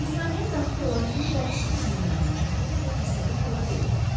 Malikanəyə daxil olan kimi bacısı qızının yanına çağırdı və əsəbi halda dedi: